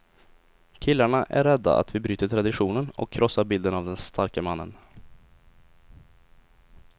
Killarna är rädda att vi bryter traditionen och krossar bilden av den starke mannen.